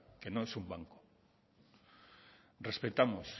que no es un banco respetamos